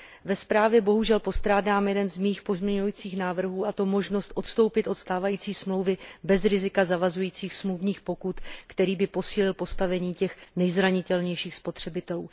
Ve zprávě bohužel postrádám jeden z mých pozměňujících návrhů, a to možnost odstoupit od stávající smlouvy bez rizika zavazujících smluvních pokut, který by posílil postavení těch nejzranitelnějších spotřebitelů.